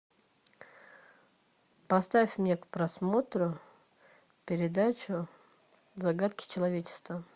поставь мне к просмотру передачу загадки человечества